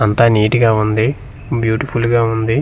అంతా నీటి గా ఉంది బ్యూటిఫుల్ గా ఉంది.